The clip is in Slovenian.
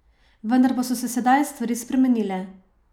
Vendar pa so se sedaj stvari spremenile!